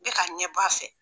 E ka ɲɛbɔ a fɛ.